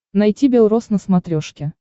найти бел рос на смотрешке